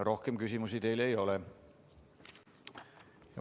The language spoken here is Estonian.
Rohkem küsimusi teile ei ole.